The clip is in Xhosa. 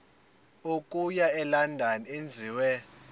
okuya elondon enziwe